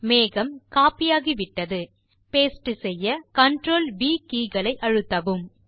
மேகம் கோப்பி ஆகிவிட்டது பாஸ்டே செய்ய CTRL மற்றும் வி கே களை அழுத்தவும்